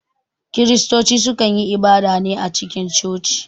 Kiristoci su kan yi ibada ne a cikin coci